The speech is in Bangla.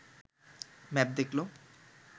ম্যাপ দেখল